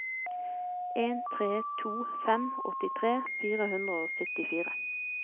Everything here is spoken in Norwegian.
en tre to fem åttitre fire hundre og syttifire